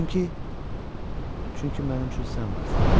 Çünki mənim üçün sən varsan.